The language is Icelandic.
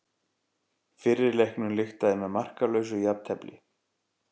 Fyrri leiknum lyktaði með markalausu jafntefli